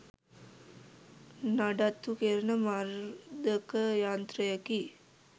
නඩත්තු කෙරෙන මර්ධක යන්ත්‍රයකි.